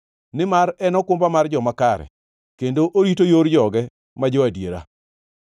nimar en okumba mar joma kare kendo orito yor joge ma jo-adiera.